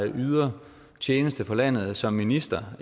yder tjeneste for landet som minister